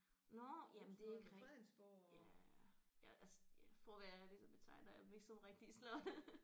Nåh jamen det er ikke rigtig ja ja altså ja for at være ærlig så betegner jeg dem ikke som rigtige slotte